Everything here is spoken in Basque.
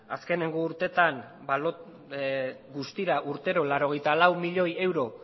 azkenengo urteetan guztira urteko laurogeita lau milioi euro